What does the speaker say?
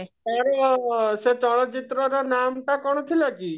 ସେତେବେଳେ ସେ ଚଳଚିତ୍ରର ନାଁ ବି ଟା କଣ ଥିଲା କି